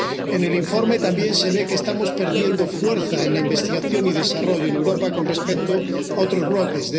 En el informe también se ve que estamos perdiendo fuerza en investigación y desarrollo en Europa con respecto a otros bloques